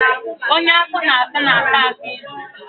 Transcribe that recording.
Onye afọ na-asa na-ata akị ilu